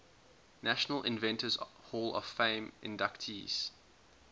national inventors hall of fame inductees